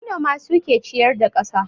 Manoma suke ciyar da kasa